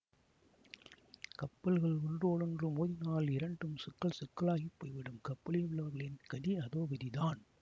கப்பல்கள் ஒன்றோடொன்று மோதினால் இரண்டும் சுக்கல் சுக்கலாகிப் போய்விடும் கப்பலில் உள்ளவர்களின் கதி அதோகதிதான்